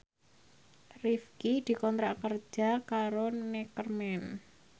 Rifqi dikontrak kerja karo Neckerman